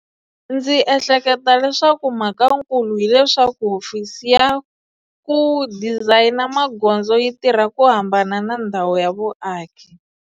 Ndzi ehleketa leswaku mhakankulu hileswaku hofisi ya ku dizayina magondzo yi tirha ku hambana na ndhawu ya vuaki.